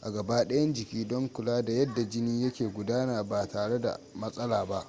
a gabadayan jiki don kula da yadda jini yake gudana ba tare da matsala ba